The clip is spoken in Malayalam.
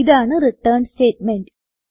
ഇതാണ് റിട്ടേൺ സ്റ്റേറ്റ്മെന്റ്